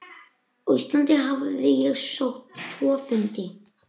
Á Íslandi hafði ég sótt tvo fundi.